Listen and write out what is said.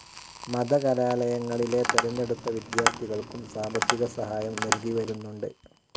മത കലാലയങ്ങളിലെ തെരഞ്ഞടുത്ത വിദ്യാർത്ഥികൾക്കും സാമ്പത്തിക സഹായം നൽകിവരുന്നുണ്ട്.